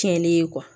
Tiɲɛnen ye